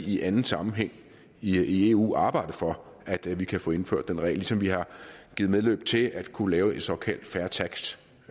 i anden sammenhæng i eu vil arbejde for at vi kan få indført den regel ligesom vi har givet medløb til at kunne lave et såkaldt fair tax